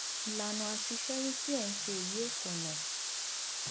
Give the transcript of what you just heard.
ìlànà àti ṣẹyun tí ẹ ń ṣe yìí ò tọnà